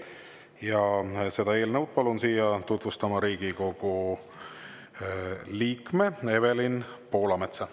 Ja seda eelnõu palun siia tutvustama Riigikogu liikme Evelin Poolametsa.